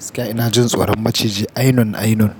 Gaskiya ina jin tsoron maciji ainun ainun.